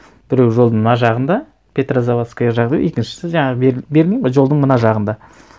біреуі жолдың мына жағында петрозаводская жағы екіншісі жаңағы берлин ғой жолдың мына жағында